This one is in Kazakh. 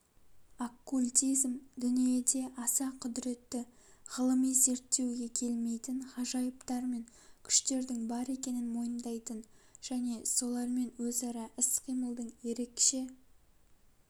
оккультизм дүниеде аса құдіретті ғылыми зерттеуге келмейтін ғажайыптар мен күштердің бар екенін мойындайтын және солармен өзара іс-қимылдың ерекше